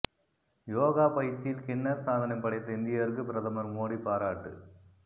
யோகா பயிற்சியில் கின்னஸ் சாதனை படைத்த இந்தியருக்கு பிரதமர் மோடி பாராட்டு